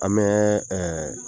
An bɛɛ ɛɛ